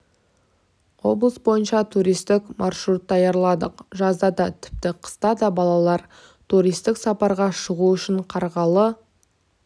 облыс бойынша туристік маршрут даярладық жазда да тіпті қыста да балалар туристік сапарға шығуы үшін қарғалы